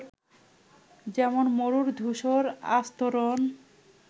যেমন মরুর ধূসর আস্তরন